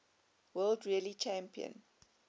world rally championship